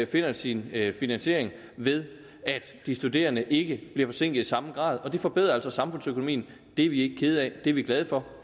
finder sin finansiering ved at de studerende ikke bliver forsinket samme grad og det forbedrer altså samfundsøkonomien det er vi ikke kede af det er vi glade for